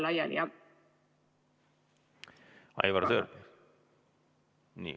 Aivar Sõerd.